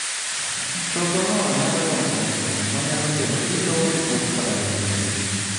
Chogo no nyalo dongo maduo'ng manyalo kelo ilo, kuot koda rem bende.